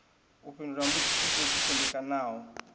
u fhindula mbudziso dzo ḓisendekaho